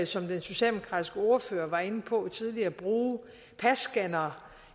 som den socialdemokratiske ordfører var inde på tidligere vil bruge passcannere